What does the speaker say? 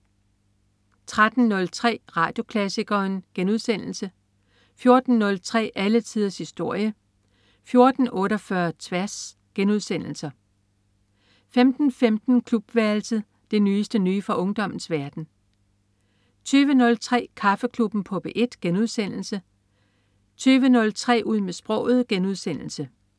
13.03 Radioklassikeren* 14.03 Alle tiders historie* 14.48 Tværs* 15.15 Klubværelset. Det nyeste nye fra ungdommens verden 20.03 Kaffeklubben på P1* 22.03 Ud med sproget*